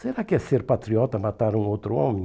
Será que é ser patriota matar um outro homem?